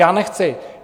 Já nechci.